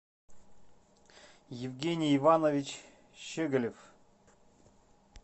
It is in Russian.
евгений иванович щегалев